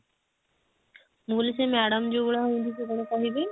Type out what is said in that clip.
ମୁଁ କହିଲି ସେ madam ଯଉ ଭଳିଆ ହଉଛନ୍ତି ସେ କଣ କହିବେ